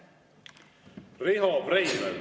Riho Breivel.